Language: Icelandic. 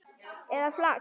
eða fax